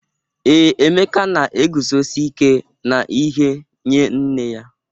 Ee, Emeka na-eguzosi ike n’ihe nye nne ya.